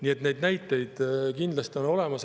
Nii et neid näiteid kindlasti on.